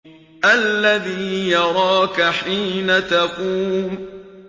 الَّذِي يَرَاكَ حِينَ تَقُومُ